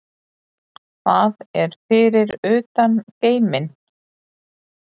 Hvað er fyrir utan geiminn?